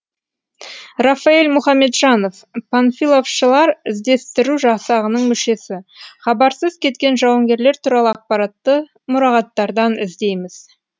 рафаэль мұхамеджанов панфиловшылар іздестіру жасағының мүшесі хабарсыз кеткен жауынгерлер туралы ақпаратты мұрағаттардан іздейміз